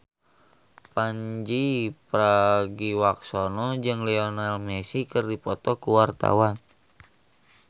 Pandji Pragiwaksono jeung Lionel Messi keur dipoto ku wartawan